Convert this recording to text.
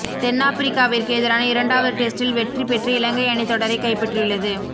தென்னாபிரிக்காவிற்கு எதிரான இரண்டாவது டெஸ்டில் வெற்றி பெற்று இலங்கை அணி தொடரை கைப்பற்றியுள்ளது